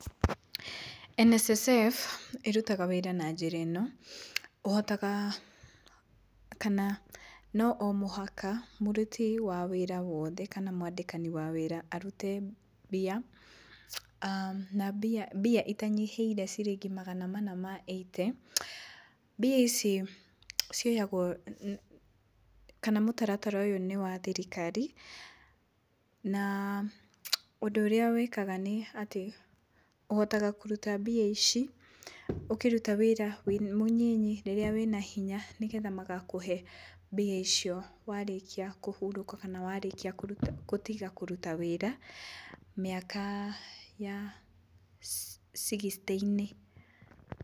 NSSF ĩrutaga wĩra na njĩra ĩno, ũhotaga kana no o mũhaka mũruti wa wĩra wothe kana mwandĩkani arute mbia aah na mbia mbia itanyihĩire ciringi magana mana ma eighty, mbia ici cioyagwo kana mũtaratara ũyũ nĩ wa thirikari na ũndũ ũrĩa wĩkaga nĩ atĩ ũhotaga kũruta mbia ici ũkĩruta wĩra wĩ mũnini rĩrĩa wĩna hinya nĩgetha magakũhe mbia icio warĩkia kũhurũka kana warĩkia gũtiga kũruta wĩra mĩaka ya sixty inĩ.